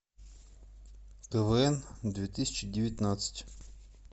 квн две тысячи девятнадцать